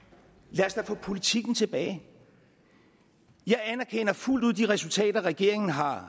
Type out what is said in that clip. lad os da få politikken tilbage jeg anerkender fuldt ud de resultater regeringen har